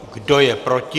Kdo je proti?